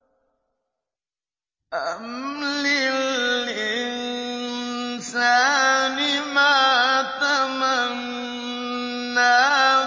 أَمْ لِلْإِنسَانِ مَا تَمَنَّىٰ